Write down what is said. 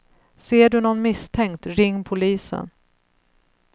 Ser du någon misstänkt, ring polisen.